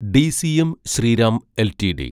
DCM Shriram LTD